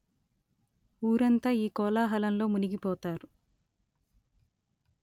ఊరంతా ఈ కోలా హలంలో మునిగి పోతారు